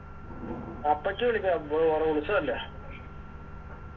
അപ്പച്ചി വിളിക്കാറുണ്ട് അവിടെ ഉത്സവല്ലേ